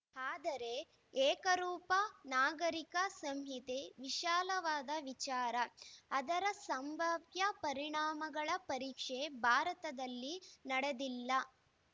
ಆದರೆ ಏಕರೂಪ ನಾಗರಿಕ ಸಂಹಿತೆ ವಿಶಾಲವಾದ ವಿಚಾರ ಅದರ ಸಂಭಾವ್ಯ ಪರಿಣಾಮಗಳ ಪರೀಕ್ಷೆ ಭಾರತದಲ್ಲಿ ನಡೆದಿಲ್ಲ